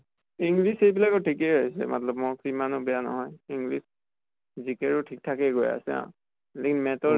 english এইবিলাকৰ ঠিকে আছে মাত্লব mock ইমানো বেয়া নহয় english GK ৰো ঠিক ঠাকে গৈ আছে লি math ৰ